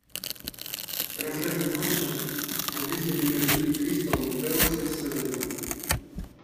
трансляция матча английской премьер лиги кристал пэласа с эвертоном